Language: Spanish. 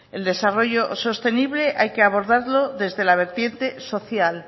el desarrollo sostenible hay que abordarlo desde la vertiente social